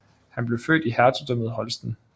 Han blev født i Hertugdømmet Holsten